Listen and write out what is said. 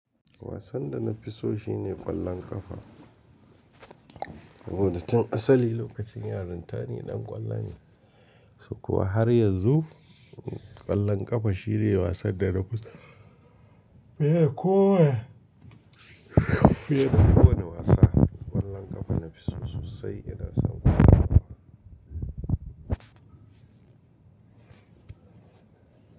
Wasan da na fi so shine ƙwallon ƙafa. Saboda tun asali lokacin yaran ta ni ɗan ƙwallo ne. Sukowa har yanzu ƙwallon ƙafa shine wasan da na fi so. Bai da kowai. Bai da kowanne wasa. Ƙwallon ƙafa nafi so sosai ina son ƙwallon ƙafa.